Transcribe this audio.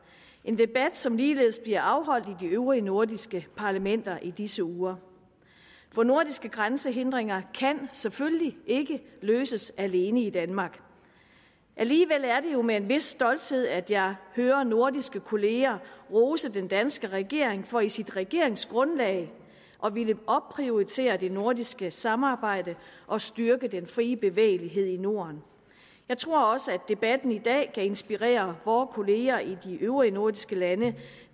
en debat som ligeledes bliver afholdt i de øvrige nordiske parlamenter i disse uger for nordiske grænsehindringer kan selvfølgelig ikke løses alene i danmark alligevel er det jo med en vis stolthed at jeg hører nordiske kollegaer rose den danske regering for i sit regeringsgrundlag at ville opprioritere det nordiske samarbejde og styrke den frie bevægelighed i norden jeg tror også at debatten i dag kan inspirere vore kollegaer i de øvrige nordiske lande